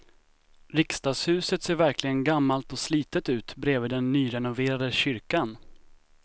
Riksdagshuset ser verkligen gammalt och slitet ut bredvid den nyrenoverade kyrkan.